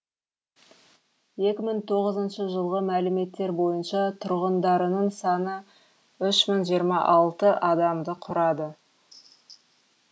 екі мың тоғыз жүз тоғызыншы жылғы мәліметтер бойынша тұрғындарының саны үш мың жиырма алты адамды құрады